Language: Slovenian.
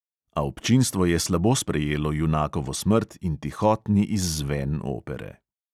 A občinstvo je slabo sprejelo junakovo smrt in tihotni izzven opere.